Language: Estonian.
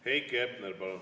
Heiki Hepner, palun!